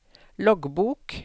loggbok